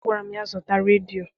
Agwara m ya, zụta redio!